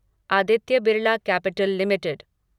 Aditya Birla Capital limited